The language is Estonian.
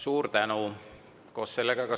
Suur tänu!